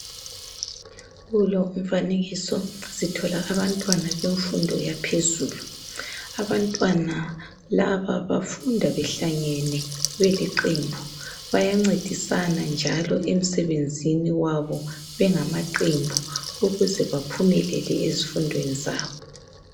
Kulo umfanekiso sithola abantwana bemfundo yaphezulu , abantwana laba bafunda behlangene beliqembu bayancedisana njalo emsebenzini wabo bengamaqembu ukuze baphumelele ezifundweni zabo